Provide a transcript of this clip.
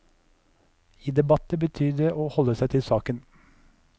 I debatter betyr det å holde seg til saken.